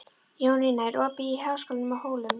Jónína, er opið í Háskólanum á Hólum?